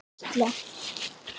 En hvað kostar svona gæsla?